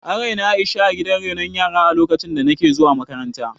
An raini Aisha a gidan renon yara a lokacin da nake zuwa makaranta